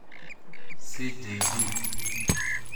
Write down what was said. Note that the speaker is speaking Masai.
CJD